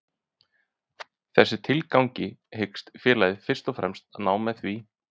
Þessu tilgangi hyggst félagið fyrst og fremst ná með því